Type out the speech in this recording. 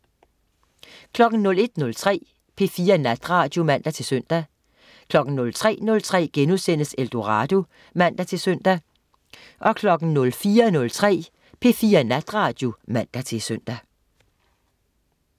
01.03 P4 Natradio (man-søn) 03.03 Eldorado* (man-søn) 04.03 P4 Natradio (man-søn)